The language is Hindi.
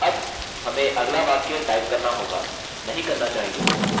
अब हमें अगला वाक्य टाइप करना होगा नहीं करना चाहिए